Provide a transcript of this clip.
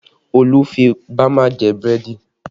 Olu fi bama jẹ búrẹ́dì